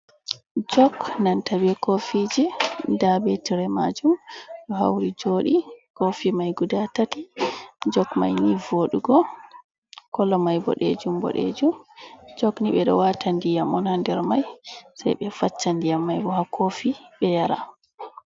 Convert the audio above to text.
Jok nanta be kofiji nda be tire majum ɗo hauri joɗi. kofi mai guda tati jok mai ni voɗugo kolo mai boɗejum boɗejum, jok ni ɓe ɗo wata ndiyam on ha nder mai sei ɓe facca ndiyam mai bo ha kofi ɓe yara.